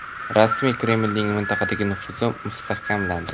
Rasmiy Kremlning mintaqadagi nufuzi mustahkamlandi.